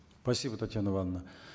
спасибо татьяна ивановна